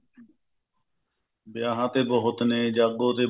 ਵਿਆਹਾਂ ਤੇ ਬਹੁਤ ਨੇ ਜਾਗੋ ਤੇ